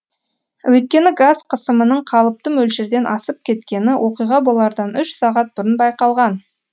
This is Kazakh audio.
өйткені газ қысымының қалыпты мөлшерден асып кеткені оқиға болардан үш сағат бұрын байқалған